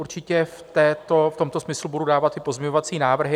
Určitě v tomto smyslu budu dávat i pozměňovací návrhy.